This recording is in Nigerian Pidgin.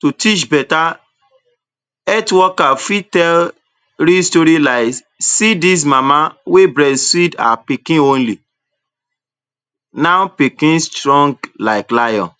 To teach beta, health worker fit tell real story lies see dis mama wey breastfeed her pikin only, now pikin strong like lion.